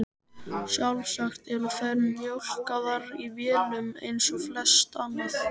Sjálfsagt eru þær mjólkaðar í vélum eins og flest annað.